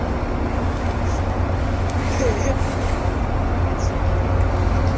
ha ho so etsuwe o